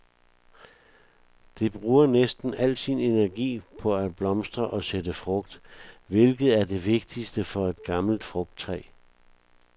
Det bruger næsten al sin energi på at blomstre og sætte frugt, hvilket er det vigtigste for et gammelt frugttræ.